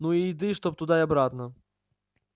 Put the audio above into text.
ну и еды чтоб туда и обратно